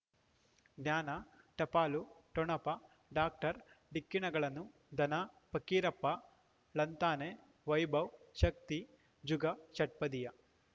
ಜ್ಞಾನ ಟಪಾಲು ಠೊಣಪ ಡಾಕ್ಟರ್ ಢಿಕ್ಕಿ ಣಗಳನು ಧನ ಫಕೀರಪ್ಪ ಳಂತಾನೆ ವೈಭವ್ ಶಕ್ತಿ ಝಗಾ ಷಟ್ಪದಿಯ